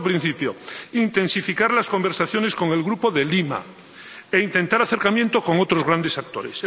Cuarto, intensificar las conversaciones con el Grupo de Lima e intentar acercamientos con otros grandes actores.